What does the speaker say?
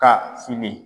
Ka fini